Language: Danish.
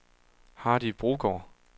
Hardy Brogaard